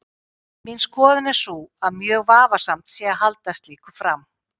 Mín skoðun er sú að mjög vafasamt sé að halda slíku fram.